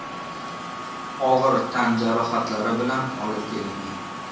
og‘ir tan jarohatlari bilan olib kelingan.